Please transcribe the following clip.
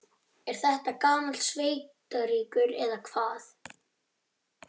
Er þetta gamall sveitarígur, eða hvað?